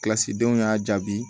Kilasidenw y'a jaabi